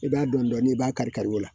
I b'a dɔn dɔɔnin i b'a kari kari o la